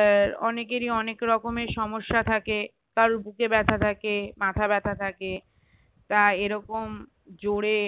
আহ অনেকেরই অনেকরকমের সমস্যা থাকে কারোর বুকে ব্যাথা থাকে মাথা ব্যাথা থাকে তা এরকম জোরে